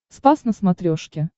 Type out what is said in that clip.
спас на смотрешке